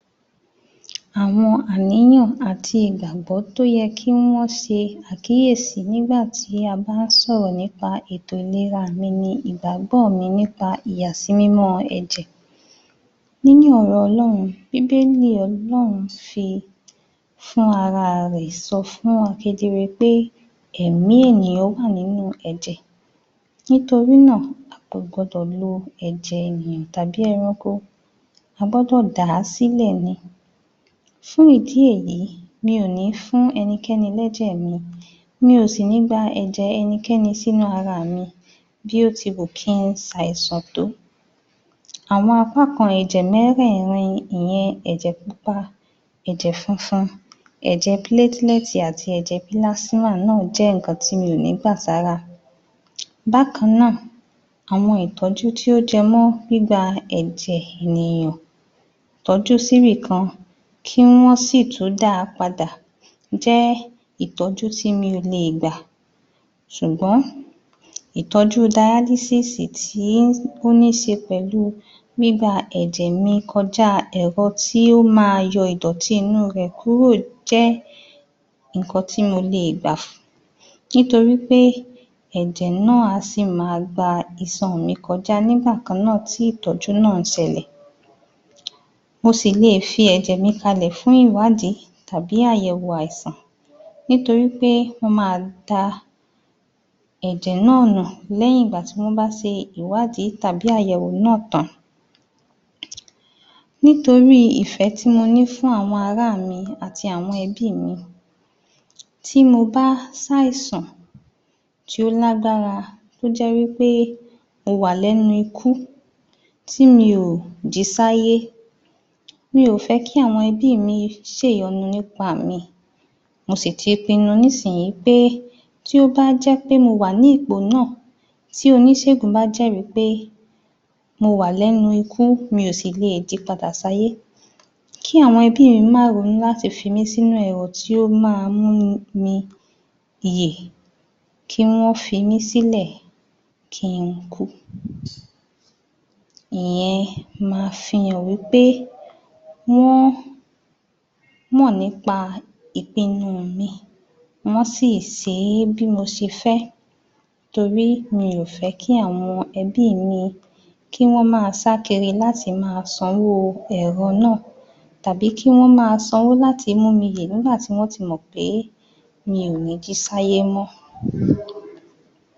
Àwọn àníyàn àti ìgbàgbọ́ tó yẹ kí wọ́n se àkíyèsí nígbàtí a bá sọ̀rọ̀ nípa ètò ìlera mi ni ìgbágbọ́ mi nípa ìyàsímímọ́ ẹ̀jẹ nínú ọ̀rọ̀ ọlọ́run, bíbélì ọlọ́run fi fúnrarẹ̀ sọ fún wọn kedere pe eèmí ènìyàn wà ninú ẹ̀jẹ̀ nítorínà a kò gbọdọ̀ lo ẹ̀jẹ̀ ènìyàn tàbí ẹranko a gbọ́dọ̀ dà á sílẹ̀ ni fún ìdí èyí mi ò ní fún ẹnikẹ́ni lẹ́jẹ̀ mi mi ò sì ní gba ẹ̀jẹ̀ ẹnikẹ́ni sínú ara mi bí ó ti wù kí i sàìsàn tó àwọn apá kan ẹ̀jẹ mẹ́ẹ́rẹ̀rin ìyen ẹ̀jẹ̀ pupa ẹ̀jẹ̀ funfun ẹ̀jẹ̀ pálẹ̀tì àti ẹ̀jẹ̀ pílásímà náà jẹ́ ìkan tí mí ò ní gbà sára um, bákanná àwọn ìtọ́jú tí ó jẹ mọ́ gbígba ẹ̀jẹ̀ ènìyàn tọ́jú síbìkan kí wọ́n sìtún da padà jẹ́ ìtọ́jú tí mi ò le gbà sùgbón itọ́jú daílísísì tí ó ní se pẹ̀lú gbígba ẹ̀jẹ̀ mi kọjá ẹ̀ro ti ́ ó ma yo ìd́ọ̀tí inú rẹ̀ kúrò jẹ́ ìkan tí mo lè gbà nítorí pé ẹ̀jẹ̀ náà á sì ma gba isan mi kọjá nígbàkannà tí ìtọ́jú náà sẹlẹ̀ mo sì lè fi ẹ̀jẹ̀ mi kalẹ̀ fún ìwádí tàbí àyẹ̀wò àìsàn nítorí pé wọ́n ma da ẹ̀jẹ̀ ná̀à nù lẹ́yìn ìgbà tí wọ́n bá se ìwádí tàbí àyẹ̀wò náà tán nítorí ìfẹ́ tí mo ní fún àwọn ará mi àti àwọn ẹbí mi tí mo bá sàìsàn tí ó lágbára tó jẹ́ wí pé mo wà lẹ́nu ikú tí mi ò jí sáyé mi ò fẹ́ kí àwọn ẹbí mi se ìyọnu nípa mi mo sì ti pinu nísinyí pé tí ó má jẹ́ pé mo wà ní ipò náà tí onísègùn bá jẹ́rí pé mo wà lẹ́nu ikú mi ò le è jí padà sáyé kí àwọn ẹbí mi má ronú láti fi mí sínú ẹ̀rọ tí ó ma mú mi yè kí wọ́n fi mí sílẹ̀ kí i kú ìyen ma fi hàn wí pé wọ́n mọ̀ nípa ìpinu mi wọ́n si sé é bí mo se fẹ́ torí mi ò fẹ́ kí àwọn ẹbí mi kí wọ́n ma sá kiri láti ma sanwó ẹ̀rọ náà tàbí kí wọ́n ma sanwó láti múmi yè nígbàtí wọ́n ti mọ̀ pe mi ò ní jí sáyé mọ́??